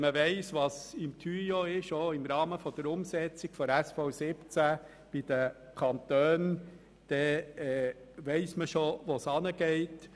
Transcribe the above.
Und wenn man weiss, was auch im Rahmen der Umsetzung der SV17 bei den Kantonen im «Tuyau» ist, dann weiss man bereits, wo es hingeht.